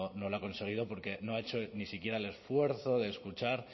no lo ha conseguido porque no ha hecho ni siquiera el esfuerzo de escuchar